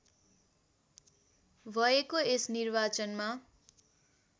भएको यस निर्वाचनमा